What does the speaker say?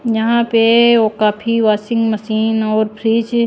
यहां पे वो काफी वाशिंग मशीन और फ्रीज --